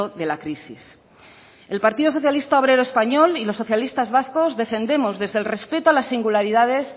de la crisis el partido socialista obrero español y los socialistas vascos defendemos desde el respeto a las singularidades